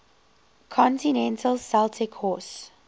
continental celtic horse